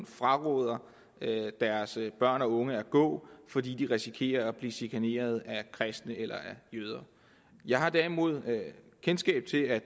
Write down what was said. fraråder deres børn og unge at gå fordi de risikerer at blive chikaneret af kristne eller jøder jeg har derimod kendskab til at